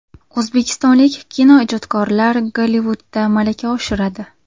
O‘zbekistonlik kinoijodkorlar Gollivudda malaka oshiradi.